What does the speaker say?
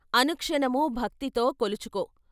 అనుక్షణమూ భక్తితో కొలుచుకో.